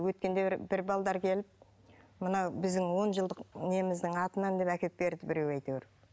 өткенде бір бір келіп мына біздің он жылдық неміздің атынан деп әкеліп берді біреу әйтеуір